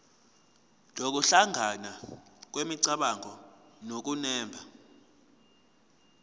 nokuhlangana kwemicabango nokunemba